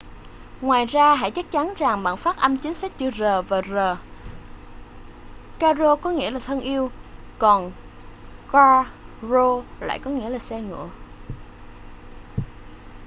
ngoài ra hãy chắc chắn rằng bạn phát âm chính xác chữ r và rr caro có nghĩa là thân yêu còn carro lại có nghĩa là xe ngựa